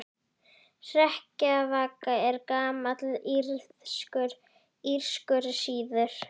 Hrekkjavaka er gamall írskur siður.